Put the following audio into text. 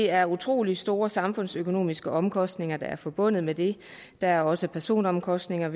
er utrolig store samfundsøkonomiske omkostninger forbundet med det der er også personlige omkostninger